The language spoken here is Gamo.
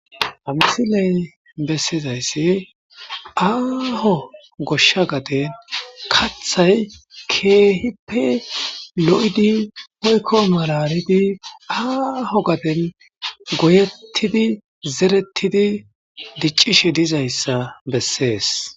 Ha missile besizaysi aho gosha gaden kathay kehipe lo'idi woyko malalid aho gaden goyetidi zeretidi dic'idi dizaysa beses.